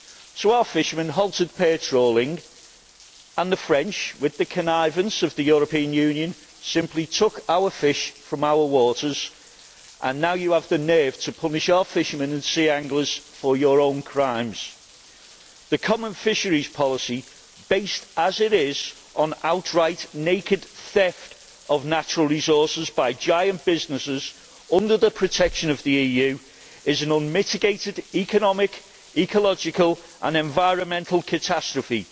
So our fishermen halted pair trawling and the French, with the connivance of the European Union, simply took our fish from our waters, and now you have the nerve to punish our fishermen and sea anglers for your own crimes. The common fisheries policy, based as it is on outright naked theft of natural resources by giant businesses under the protection of the EU, is an unmitigated economic, ecological and environmental catastrophe.